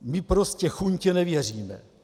My prostě chuntě nevěříme.